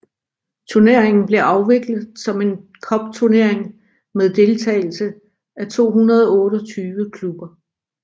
Turneringen blev afviklet som en cupturnering med deltagelse af 228 klubber